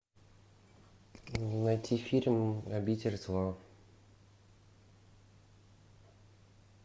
найти фильм обитель зла